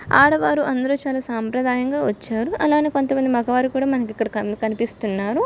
ఆడవారందరూ చాలా సాంప్రదాయంగా వచ్చారు అలానే కొంతమంది మగవారు కూడా మనకు ఇక్కడ కనిపిస్తున్నారు.